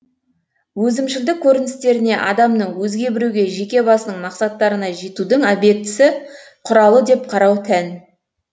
өзімшілдік көріністеріне адамның өзге біреуге жеке басының мақсаттарына жетудің объектісі құралы деп қарау тән